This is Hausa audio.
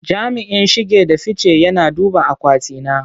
Jami'in shige da fice yana duba akwati na.